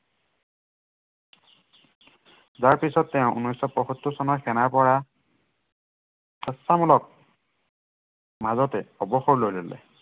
যাৰ পিছত তেওঁ উনৈচ শ পয়সত্তৰ চনত সেনাৰ পৰা স্বেচ্ছামূলক মাজতে অৱসৰ লৈ ললে।